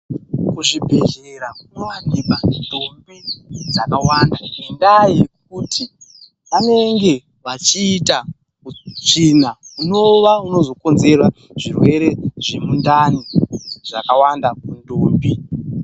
Muzvibhedhlera munowanika ndombi dzakawanda, ngendaa yekuti vanenge vachiita utsvina hunova hunozokonzera zvirwere zvemundani zvakawanda kundombi.